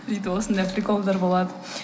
сөйтіп осындай приколдар болады